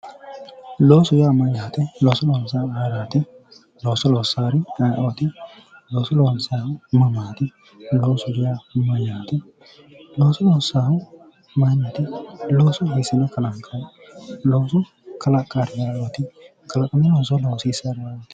loosu yaaa mayyaate looso loonsayhu mayraati looso loossawori ayeooti? looso loonsayhu mamaati loosoho yaa mayyaate looso loonsayhu mayraati looso loonsayhu kalanqeeti looso kalaqawori ayeooti looso loosiissannori